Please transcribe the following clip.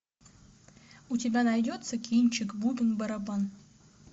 у тебя найдется кинчик бубен барабан